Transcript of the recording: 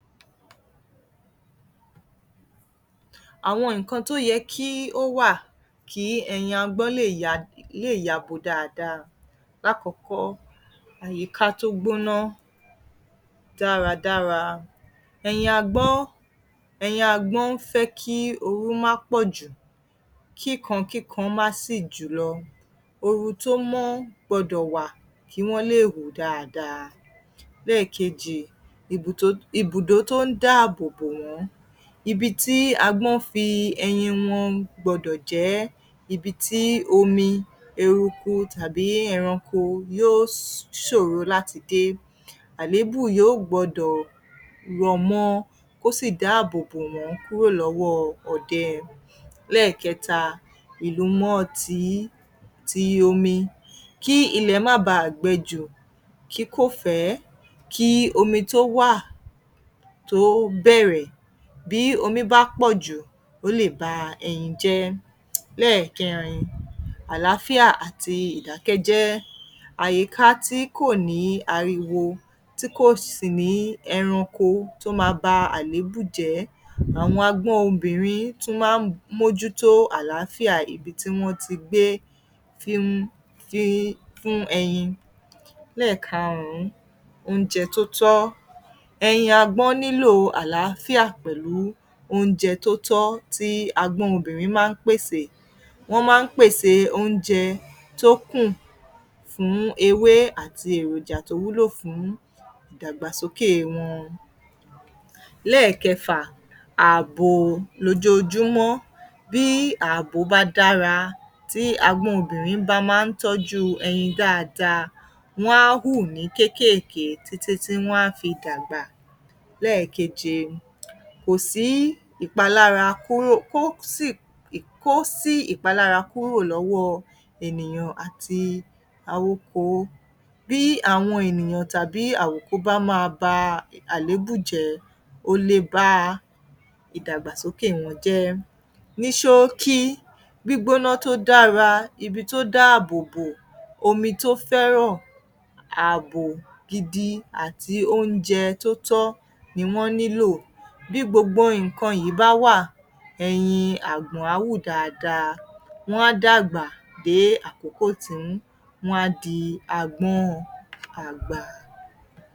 Àwọn nǹkan tó yẹ kí ó wà kí ẹyin agbọ́n lè ya, yabo dáadáa. Lákọ̀ọ́kọ́, àyíká tó gbóná dáradára. Ẹyin agbọ́n, ẹyin agbọ́n fẹ́ kí ooru má pọ̀ jù, kí kan, kí kan má sì jùlọ. ooru tó mọ́ gbọdọ̀ wà kí wọ́n lè hù dáadáa. Lẹ́ẹ̀kejì, ibùdó tó ń dáàbò wọ́n. Ibi tí agbọ́n fi ẹyin wọn gbọdọ̀ jẹ́ ibi tí omi, eruku, tàbí ẹranko yó ṣòro láti dé. Àléébù yó gbọdọ̀ rọ̀ mọ́ ọ kó sì dáàbò bo wọ́n kúrò lọ́wọ́ ọdẹ. Lẹ́ẹ̀kẹta, ìlumọ̀tí, ti omi. Kí ilẹ̀ má baà gbẹ jù, kí kò fẹ́ kí omi tó wà, tó bẹ̀rẹ̀, bí omi bá pọ̀ jù, ó lè ba ẹyin jẹ́. Lẹ́ẹ̀kẹrin, àlááfíà àti ìdákẹ́jẹ́. Àyíká tí kò ní ariwo tí kò sì ní ẹranko tó máa ba àléébù jẹ́. Àwọn agbọ́n obìnrin tún máa ń mójútó àlááfíà ibi tí wọ́n ti gbé fi n, fi fún ẹyin. Lẹ́ẹ̀karùn-ún, oúnjẹ tó tọ́. Ẹyin agbọ́n nílò àlááfíà pẹ̀lú oúnjẹ tó tọ́ tí agbọ́n obìnrin máa ń pèsè oúnjẹ. Wọ́n máa ń pèsè oúnjẹ tó kùn fún ewé àti èròjà tó wúlò fún ìdàgbàsókè wọn. Lẹ́ẹ̀kẹfà, ààbò lójoojúmọ́. Bí ààbò bá dára, tí agbọ́n obìnrin bá máa ń tọ́jú ẹyin dáadáa, wọ́n á hù ní kéékèèké títí tí wọ́n á fi dàgbà. Lẹ́ẹ̀keje, kò sí ìpalára kúrò, kó sì, kó sí ìpalára kúrò lọ́wọ́ ènìyàn àti awoko. Bí àwọn ènìyàn tàbí àwòko bá máa ba àléébù jẹ́, o le ba ìdàgbàsókè wọn jẹ́. Ní ṣóókí, gbígbóná tó dára, ibi tó dáàbò bò, omi tó fẹ́ràn ààbò gidi àti oúnjẹ tó tọ́ ni wọ́n nílò. Bí gbogbo nǹkan yìí bá wà, ẹyin àgbọ̀n á hù dáadáa. Wọ́n á dàgbà dé àkókò tí wọ́n á di agbọ́n àgbà.